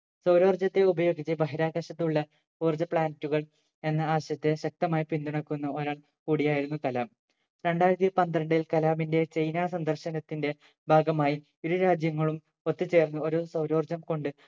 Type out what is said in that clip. സൗരോർജത്തെ ഉപയോഗിച്ച് ബഹിരാകാശത്തുള്ള ഊർജ്ജ planet കൾ എന്ന ആശയത്തെ ശക്തമായി പിന്തുണക്കുന്ന ഒരാൾ കൂടിയായിരുന്നു കലാം രണ്ടായിരത്തി പന്ത്രണ്ടിൽ കലാമിന്റെ ചൈന സന്ദർശനത്തിന്റെ ഭാഗമായി ഇരു രാജ്യങ്ങളും ഒത്തുചേർന്ന് ഒരു സൗരോർജം കൊണ്ട്